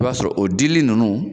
I b'a sɔrɔ o dili nunnu